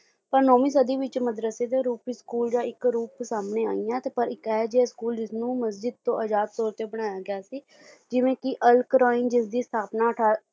ਪਰ ਨੌਵੀਂ ਸਦੀ ਵਿੱਚ ਮਦਰਾਸੀ ਦੇ ਰੂਪ ਵਿੱਚ school ਜਾਂ ਇੱਕ ਰੂਪ ਸਾਹਮਣੇ ਆਈਆਂ ਪਰ ਇੱਕ ਇਹ ਜਿਹਾ school ਜਿਸਨੂੰ ਮਸਜਿਦ ਤੋਂ ਆਜ਼ਾਦ ਤੌਰ ਤੇ ਬਣਾਇਆ ਗਿਆ ਸੀ ਜਿਵੇਂ ਕੇ ਅਲ ਕੁਰਾਇਨ ਜਿਸ ਦੀ ਸਥਾਪਨਾ ਅਠਾਰਾ